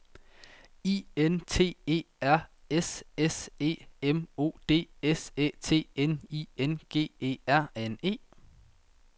I N T E R S S E M O D S Æ T N I N G E R N E